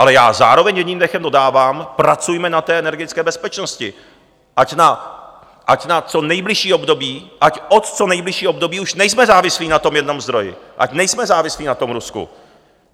Ale já zároveň jedním dechem dodávám, pracujme na té energetické bezpečnosti, ať na co nejbližší období, ať od co nejbližšího období už nejsme závislí na tom jednom zdroji, ať nejsme závislí na tom Rusku.